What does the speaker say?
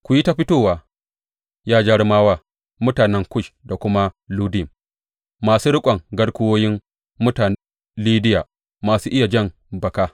Ku yi ta fitowa, ya jarumawa, mutanen Kush da kuma Ludim masu riƙon garkuwoyi, mutanen Lidiya, masu iya jan baka.